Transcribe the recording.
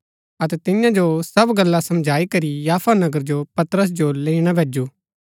अतै तियां जो सब गल्ला समझाई करी याफा नगर जो पतरस जो लैईणा भैजु